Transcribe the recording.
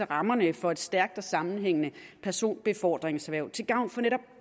rammerne for et stærkt og sammenhængende personbefordringserhverv til gavn for netop